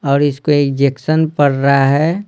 और इसको इजेक्शन पड़ रहा है।